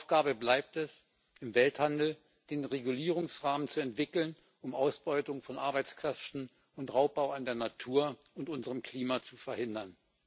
Aufgabe bleibt es, im Welthandel den Regulierungsrahmen zu entwickeln, um Ausbeutung von Arbeitskräften und Raubbau an der Natur und unserem Klima zu verhindern.